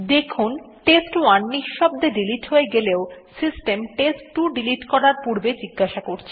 দেখুন টেস্ট1 নিঃশব্দে ডিলিট হয়ে গেলেও সিস্টেম টেস্ট2 ডিলিট করার পূর্বে জিজ্ঞাসা করে